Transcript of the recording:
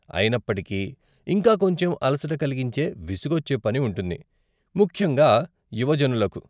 అయినప్పటికీ, ఇంకా కొంచెం అలసట కలిగించే, విసుగొచ్చే పని ఉంటుంది, ముఖ్యంగా యువ జనులకు.